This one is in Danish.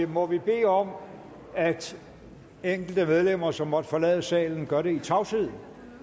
må vi bede om at enkelte medlemmer som måtte forlade salen gør det i tavshed